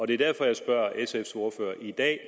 det er derfor jeg spørger sfs ordfører i dag